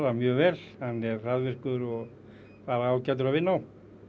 mjög vel hann er hraðvirkur og ágætur að vinna á